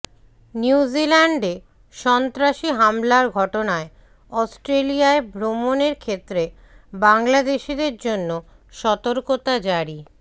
নিউজিল্যান্ডে সন্ত্রাসী হামলার ঘটনায় অস্ট্রেলিয়ায় ভ্রমণের ক্ষেত্রে বাংলাদেশিদের জন্য সতর্কতা জারি